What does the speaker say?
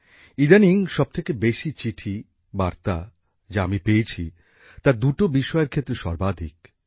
ইদানীং সবথেকে বেশি চিঠি বার্তা যা আমি পেয়েছি তা দুটো বিষয়ের ক্ষেত্রে সর্বাধিক